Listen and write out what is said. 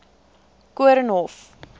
koornhof